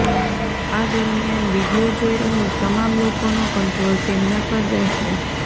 આ દરમિયાન વીડિયો જોઈ રહેલ તમામ લોકોનો કન્ટ્રોલ તેમના પર રહેશે